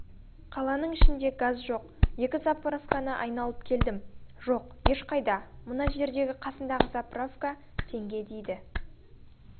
қаланың ішінде газ жоқ екі заправканы айналып келдім жоқ ешқайда мына жердегі қасындағы заправка теңге дейді